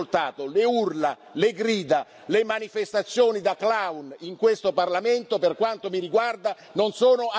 Le urla, le grida, le manifestazioni da clown, in questo Parlamento, per quanto mi riguarda, non sono accettate.